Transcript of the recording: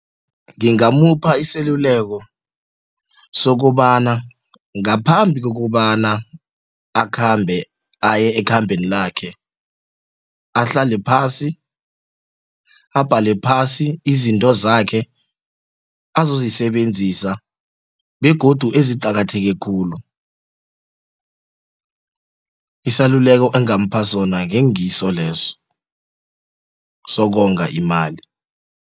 Ngingamupha iseluleko sokobana ngaphambi kokobana akhambe aye ekhambeni lakhe ahlale phasi abhale phasi izinto zakhe azozisebenzisa begodu eziqakatheke khulu isaluleko engamupha sona ngengiso leso sokonga imali.